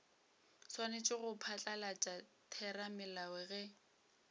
swanetše go phatlalatša theramelao ge